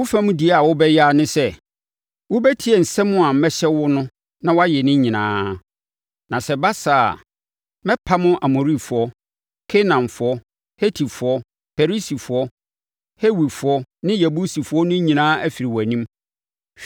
Wo fam deɛ a wobɛyɛ ara ne sɛ, wobɛtie nsɛm a mɛhyɛ wo no na woayɛ ne nyinaa; na sɛ ɛba saa a, mɛpam Amorifoɔ, Kanaanfoɔ, Hetifoɔ, Perisifoɔ, Hewifoɔ ne Yebusifoɔ no nyinaa afiri wʼanim.